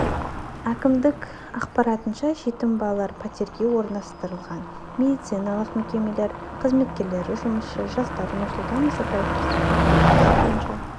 әкімдік ақпарынша жетім балалар пәтерге орналастырылған медициналық мекемелер қызметкерлері жұмысшы жастар нұрсұлтан назарбаев кездесу қорытындысы бойынша